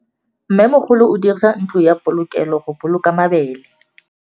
Mmêmogolô o dirisa ntlo ya polokêlô, go boloka mabele.